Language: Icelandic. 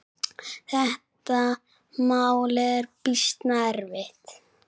Þetta mál er býsna erfitt.